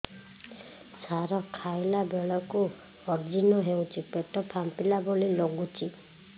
ସାର ଖାଇଲା ବେଳକୁ ଅଜିର୍ଣ ହେଉଛି ପେଟ ଫାମ୍ପିଲା ଭଳି ଲଗୁଛି